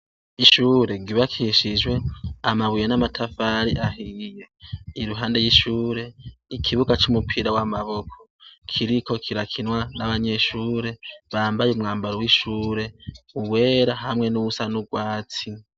Ishure ryubakishijwe amabuye n'amatafari ahiye. Iruhande y'ishure, ikibuga c'umupira w'amaboko, kiriko kirakinwa n'abanyeshure bambaye umwambaro w'ishure, uwera hamwe n'uwusa n'urwatsi.